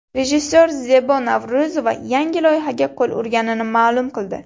Rejissor Zebo Navro‘zova yangi loyihaga qo‘l urganini ma’lum qildi.